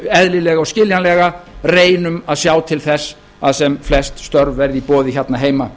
eðlilega og skiljanlega reynum að sjá til þess að sem flest störf verði í boði hérna heima